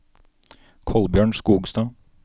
Kolbjørn Skogstad